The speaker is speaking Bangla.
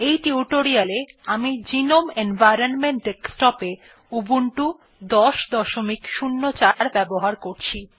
এই টিউটোরিয়াল এ আমি গ্নোম এনভাইরনমেন্ট ডেস্কটপ এ উবুন্টু ১০০৪ ব্যবহার করছি